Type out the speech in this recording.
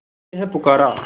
तुझे है पुकारा